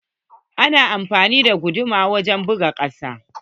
Ana amfani da guduma wajen buga kusa.